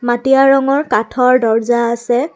মটীয়া ৰঙৰ কাঠৰ দৰ্জা আছে।